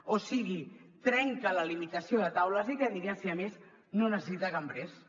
o sigui trenca la limitació de taules i cadires i a més no necessita cambrers